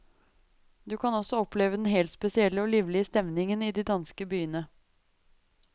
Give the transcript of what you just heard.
Du kan også oppleve den helt spesielle og livlige stemningen i de danske byene.